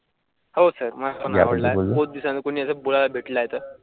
हो सर.